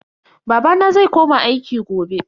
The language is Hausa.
Babana zai koma aiki gobe.